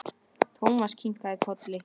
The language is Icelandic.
Thomas kinkaði kolli.